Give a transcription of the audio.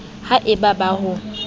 ya e ba ba ho